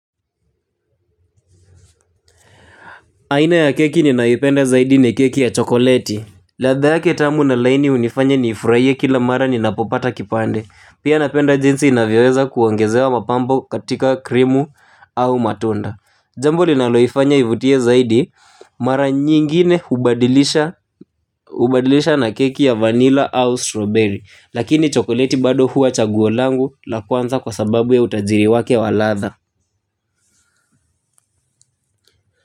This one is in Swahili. Aina ya keki ninayopenda zaidi ni keki ya chokoleti. Ladha yake tamu na laini hunifanya niifurahiye kila mara ninapopata kipande, pia napenda jinsi inavyoweza kuongezewa mapambo katika krimu au matunda. Jambo linaloifanya ivutie zaidi, mara nyingine hubadilisha hubadilisha na keki ya vanilla au strawberry, lakini chokoleti bado huwa chaguo langu la kwanza kwa sababu ya utajiri wake wa ladha.